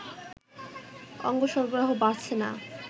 অঙ্গ সরবরাহ বাড়ছে না